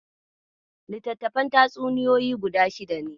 Littattafan tatsuniyoyin guda shida ne.